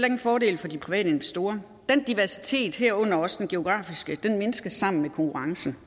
en fordel for de private investorer den diversitet herunder også den geografiske mindskes sammen med konkurrencen